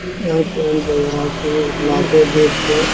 यहाँ market date पे --